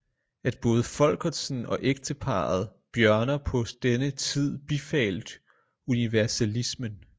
At både folkertsen og ekteparet bjørner på denne tid bifalt universalismen